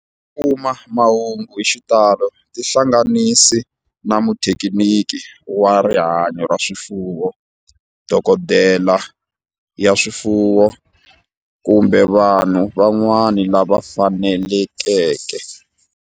Ku kuma mahungu hi xitalo tihlanganisi na muthekiniki wa rihanyo ra swifuwo, dokodela ya swifuwo, kumbe vanhu van'wana lava fanelekeke.